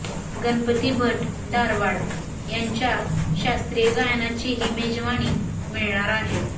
गणपती भट धारवाड यांच्या शास्त्रीय गायनाचीही मेजवाणी मिळणार आहे